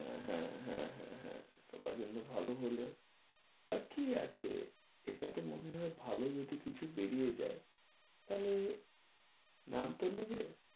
হ্যাঁ, হ্যাঁ, হ্যাঁ, হ্যাঁ সবার জন্য ভালো হলে আর কি আছে এটা তো মনে হয় ভালো যদি কিছু বেরিয়ে যায় তাহলে নাম তো নেবে।